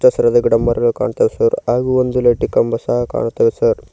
ಹಸಿರಾದ ಗಿಡ ಮರಗಳು ಕಾಣುತಾವ್ ಸರ್ ಹಾಗು ಒಂದು ಲೈಟ್ಗ್ ಕಂಬ ಸಹ ಕಾಣುತಾವ್ ಸರ್ .